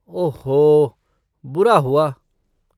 ओह हो! बुरा हुआ।